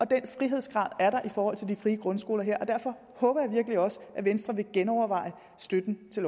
den frihedsgrad er der i forhold til de frie grundskoler her og derfor håber jeg virkelig også at venstre vil genoverveje støtten til